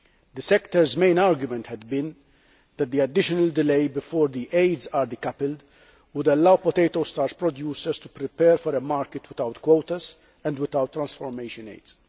The sector's main argument had been that the additional delay before the aids were decoupled would allow potato starch producers to prepare for a market without quotas and without transformation aids.